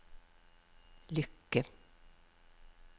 lykke